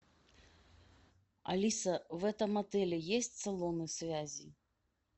алиса в этом отеле есть салоны связи